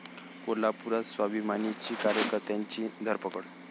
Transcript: कोल्हापुरात स्वाभिमानीच्या कार्यकर्त्यांची धरपकड